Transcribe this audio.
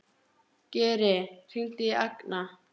Geri, hringdu í Agna.